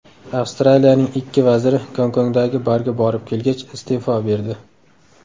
Avstraliyaning ikki vaziri Gonkongdagi barga borib kelgach, iste’fo berdi.